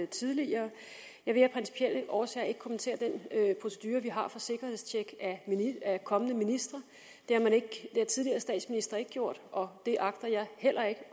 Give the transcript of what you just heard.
tidligere jeg vil af principielle årsager ikke kommentere den procedure vi har for sikkerhedstjek af kommende ministre det har tidligere statsministre ikke gjort og det agter jeg heller ikke